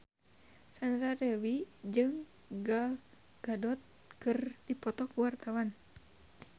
Sandra Dewi jeung Gal Gadot keur dipoto ku wartawan